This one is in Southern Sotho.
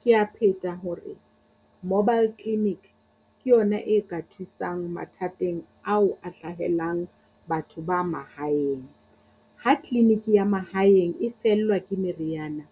Kea pheta hore mobile clinic ke yona e ka thusang mathateng ao a hlahelang batho ba mahaeng. Ha clinic ya mahaeng e fellwa ke meriana,